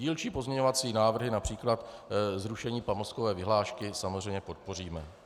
Dílčí pozměňovací návrhy, například zrušení pamlskové vyhlášky, samozřejmě podpoříme.